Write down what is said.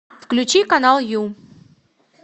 включи канал ю